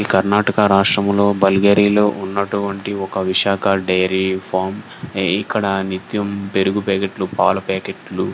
ఇది కర్ణాటక రాష్ట్రంలో బల్గేరీలో ఉన్నటువంటి ఒక విశాఖ డైరీ ఫార్మ్ ఇక్కడ నిత్యం పెరుగు ప్యాకెట్ లు పాల ప్యాకెట్ లు --